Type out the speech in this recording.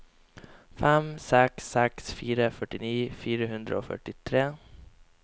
fem seks seks fire førtini fire hundre og førtitre